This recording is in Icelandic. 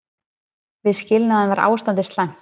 Við skilnaðinn var ástandið slæmt.